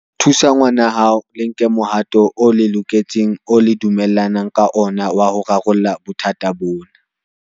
Thusa ngwanahao le nke mohato o loketseng oo le dumellanang ka ona wa ho rarolla bothata bona.